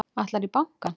Ætlarðu í bankann?